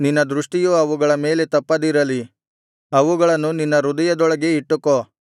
ನಿನ್ನ ದೃಷ್ಟಿಯು ಅವುಗಳ ಮೇಲೆ ತಪ್ಪದಿರಲಿ ಅವುಗಳನ್ನು ನಿನ್ನ ಹೃದಯದೊಳಗೆ ಇಟ್ಟುಕೋ